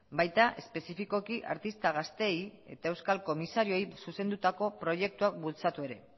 baita espezifikoki artista gazteei eta euskal komisarioei zuzendutako proiektuak bultzatu ere